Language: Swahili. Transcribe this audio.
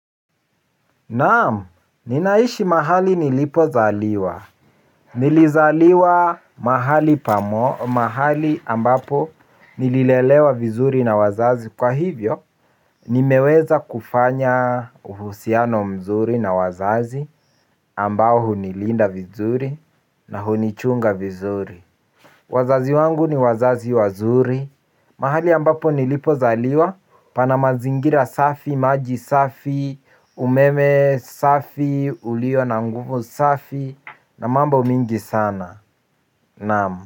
Naam, ninaishi mahali nilipozaliwa. Nilizaliwa mahali mahali ambapo nililelewa vizuri na wazazi. Kwa hivyo, nimeweza kufanya uhusiano mzuri na wazazi ambao hunilinda vizuri na hunichunga vizuri. Wazazi wangu ni wazazi wazuri. Mahali ambapo nilipo zaliwa pana mazingira safi, maji safi, umeme safi, ulio na mguvu safi, na mambo mingi sana. Naam.